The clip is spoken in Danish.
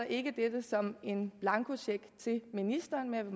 ikke dette som en blankocheck til ministeren men